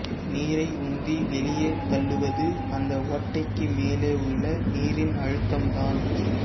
நீரை உந்தி வெளியே தள்ளுவது அந்த ஓட்டைக்கு மேலே உள்ள நீரின் அழுத்தம் தான்